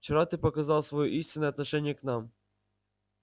вчера ты показал своё истинное отношение к нам